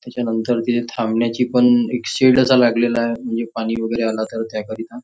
त्याच्यानंतर तिथे थांबण्यासाठी पण शेड असा लागलेला आहे म्हणजे पाणी वगैरे आला त्या करीता.